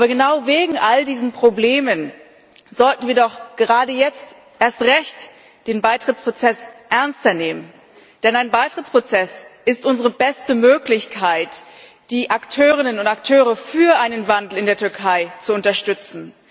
Genau wegen all dieser Probleme sollten wir doch gerade jetzt erst recht den Beitrittsprozess ernster nehmen, denn ein Beitrittsprozess ist unsere beste Möglichkeit, die Akteurinnen und Akteure für einen Wandel in der Türkei zu unterstützen.